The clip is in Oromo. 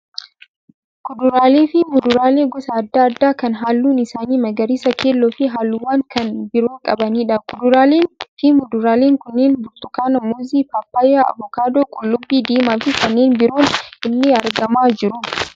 Kuduraaleefi muduraalee gosa adda addaa kan halluun isaanii magariisa, keelloofi halluuwwan kan biroo qabaniidha. Kuduraaleen fi muduraaleen kunneen burtukaana, muuzii, paappayyaa, avokaadoo, qullubbii diimaa fi kanneen biroon illee argamaa jiru.